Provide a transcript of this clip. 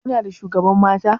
Kuna da shugaban mata?